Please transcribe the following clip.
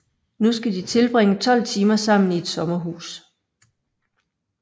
Nu skal de tilbringe 12 timer sammen i et sommerhus